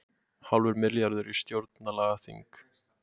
Hálfur milljarður í stjórnlagaþing